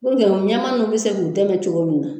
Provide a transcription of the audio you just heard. ɲɛmaa ninnu bɛ se k'u dɛmɛ cogo min na.